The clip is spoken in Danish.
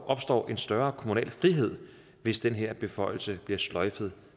opstår en større kommunal frihed hvis den her beføjelse bliver sløjfet